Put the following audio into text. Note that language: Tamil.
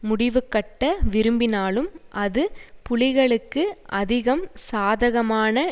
முடிவுகட்ட விரும்பினாலும் அது புலிகளுக்கு அதிகம் சாதகமான